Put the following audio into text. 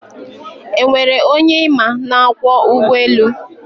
e nwere onye ịma na-akwọ ụgbọelu?